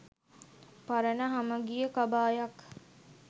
පරණ හමගිය කබායක්